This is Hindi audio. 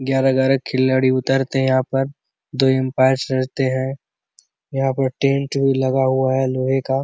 ग्यारह ग्यारह के खिलाड़ी उतारते है यहाँ पर दो अंपायर रहते है यहाँ पर टेंट भी लगा हुआ है लोहै का --